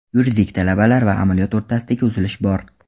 Yuridik talablar va amaliyot o‘rtasidagi uzilish bor.